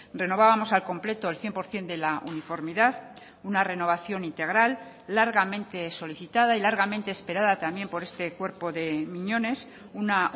renovábamos al completo el cien por ciento de la uniformidad una renovación integral largamente solicitada y largamente esperada también por este cuerpo de miñones una